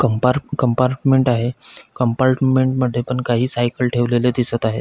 कंपार्ट् compartment आहे compartment मध्ये पण काही सायकल ठेवलेले दिसत आहेत.